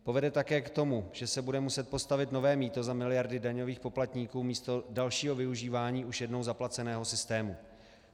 Povede také k tomu, že se bude muset postavit nové mýto za miliardy daňových poplatníků místo dalšího využívání už jednou zaplaceného systému.